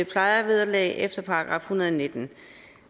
plejevederlag efter § en hundrede og nitten